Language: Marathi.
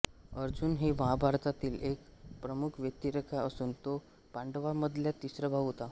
अर्जुन ही महाभारतातील एक प्रमुख व्यक्तिरेखा असून तो पांडवांमधला तिसरा भाऊ होता